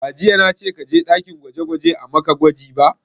Ba jiya na ce ka je ɗakin gwaje gwaje a maka gwaji ba!